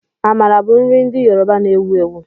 Amala bụ nri ndị Yoruba na-ewu ewu